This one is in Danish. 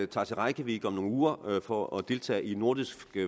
tager til reykjavik om nogle uger for at deltage i nordisk